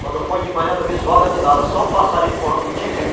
Quando foi de manhã, não vi zoada de nada, só um passarinho por nome de Tiziu.